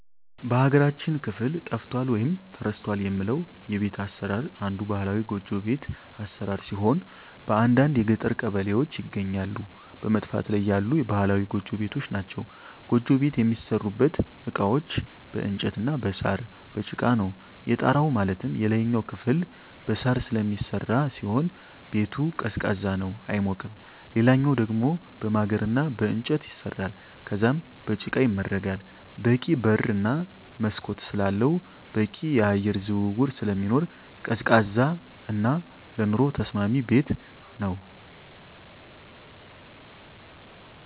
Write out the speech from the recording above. በሀገራችን ክፍል ጠፍቷል ወይም ተረስቷል የምለው የቤት አሰራር አንዱ ባህላዊ ጎጆ ቤት አሰራር ሲሆን በአንዳንድ የገጠር ቀበሌዎች ይገኛሉ በመጥፋት ላይ ያሉ ባህላዊ ጎጆ ቤቶች ናቸዉ። ጎጆ ቤት የሚሠሩበት እቃዎች በእንጨት እና በሳር፣ በጭቃ ነው። የጣራው ማለትም የላይኛው ክፍል በሳር ስለሚሰራ ሲሆን ቤቱ ቀዝቃዛ ነው አይሞቅም ሌላኛው ደሞ በማገር እና በእንጨት ይሰራል ከዛም በጭቃ ይመረጋል በቂ በር እና መስኮት ስላለው በቂ የአየር ዝውውር ስለሚኖር ቀዝቃዛ እና ለኑሮ ተስማሚ ቤት ነው።